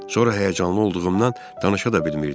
Sonra həyəcanlı olduğumdan danışa da bilmirdim.